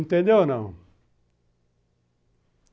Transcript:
Entendeu ou não?